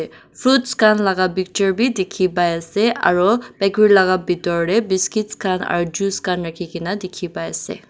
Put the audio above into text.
fruits khan laga picture b dikhi pai ase aro bakery laga bitor de biscuits khan aro juice khan rakhi gina dikhi pai ase.